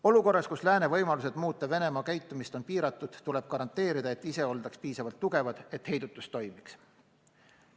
Olukorras, kus lääne võimalused muuta Venemaa käitumist on piiratud, tuleb garanteerida, et ise oldaks piisavalt tugevad, et heidutus toimiks.